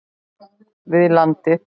við landið.